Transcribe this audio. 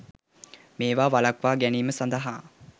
මේවා වලක්වා ගැනීම සදහා